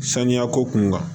Saniya ko kun kan